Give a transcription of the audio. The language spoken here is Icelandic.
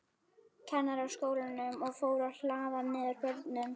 Kennaraskólanum, og fór að hlaða niður börnum.